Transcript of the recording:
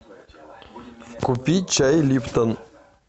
купи чай липтон